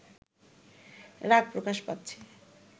রাগ প্রকাশ পাচ্ছে